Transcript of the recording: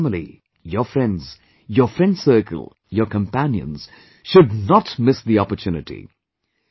You, your family, your friends, your friend circle, your companions, should not miss the opportunity